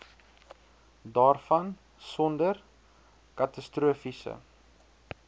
daarvan sonder katastrofiese